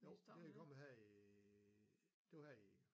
Jo det er kommet her i det var her i